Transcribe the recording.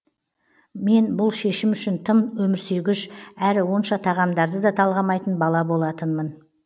мен бұл шешім үшін тым өмірсүйгіш әрі онша тағамдарды да талғамайтын бала болатынмын